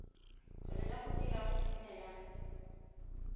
tswelela go dira go fitlhela